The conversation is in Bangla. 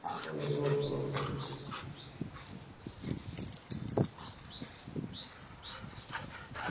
ওয়ালাইকুম আসসালাম।